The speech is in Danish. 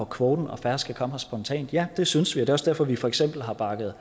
kvoten og færre skal komme her spontant ja det synes vi det er også derfor at vi for eksempel har bakket